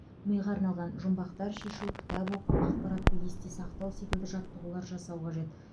миға арналған жұмбақтар шешу кітап оқу ақпаратты есте сақтау секілді жаттығулар жасау қажет